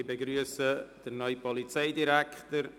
Ich begrüsse den neuen Polizeidirektor.